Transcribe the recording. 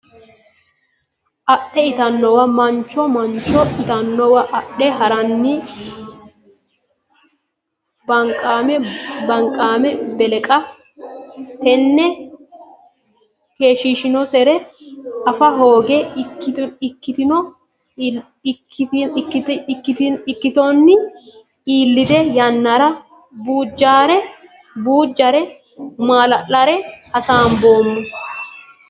adhe ittannowa Mancho Mancho ittannowa adhe ha ranni banqimma beleqqe Tenne keeshshiishinonsare afa hooge ikkitonni ilate yannara Bujjuure Mullarella hasaamboommo !